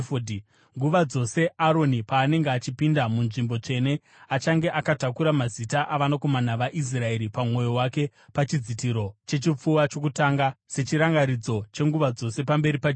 “Nguva dzose Aroni paanenge achipinda muNzvimbo Tsvene, achange akatakura mazita avanakomana vaIsraeri pamwoyo wake pachidzitiro chechipfuva chokutonga sechirangaridzo chenguva dzose pamberi paJehovha.